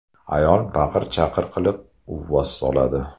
Ayol baqir-chaqir qilib, uvvos soladi.